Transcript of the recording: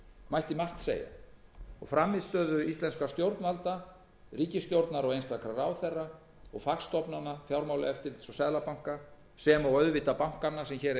mætti margt segja og frammistöðu íslenskra stjórnvalda ríkisstjórnar og einstakra ráðherra og fagstofnana fjármálaeftirlits og seðlabanka sem og auðvitað bankanna sem hér eiga í